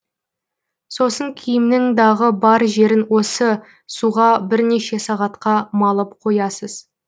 сосын киімнің дағы бар жерін осы суға бірнеше сағатқа малып қоясыз